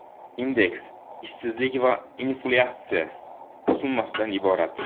Indeks ishsizlik va inflyatsiya summasidan iborat.